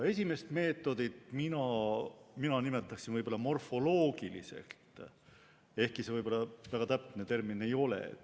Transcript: Esimest meetodit mina nimetaksin morfoloogiliseks, ehkki see väga täpne termin ei ole.